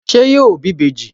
Ṣé yóò bí ìbejì?